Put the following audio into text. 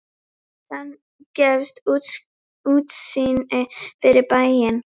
Þaðan gefst útsýni yfir bæinn.